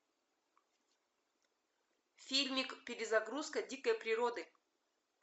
фильмик перезагрузка дикой природы